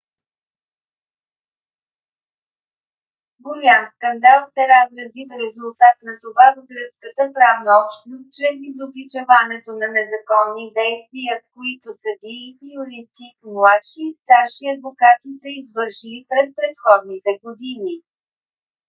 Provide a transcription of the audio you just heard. голям скандал се разрази в резултат на това в гръцката правна общност чрез изобличаването на незаконни действия които съдии юристи младши и старши адвокати са извършили през предходните години